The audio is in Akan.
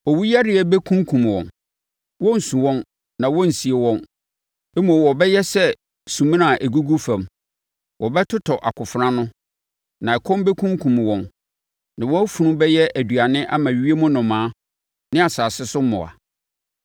“Owuyareɛ bɛkunkum wɔn. Wɔrensu wɔn na wɔrensie wɔn, mmom wɔbɛyɛ sɛ sumina a ɛgugu fam. Wɔbɛtotɔ akofena ano na ɛkɔm bɛkunkum wɔn na wɔn afunu bɛyɛ aduane ama ewiem nnomaa ne asase so mmoa.”